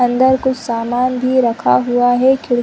अंदर कुछ सामान भी रखा हुआ है क्योंकि --